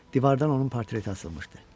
Divardan onun portreti asılmışdı.